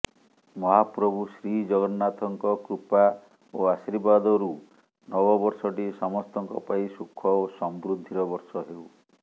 ମହାପ୍ରଭୁ ଶ୍ରୀଜଗନ୍ନାଥଙ୍କ କୃପା ଓ ଆଶୀର୍ବାଦରୁ ନବବର୍ଷଟି ସମସ୍ତଙ୍କ ପାଇଁ ସୁଖ ଓ ସମୃଦ୍ଧିର ବର୍ଷ ହେଉ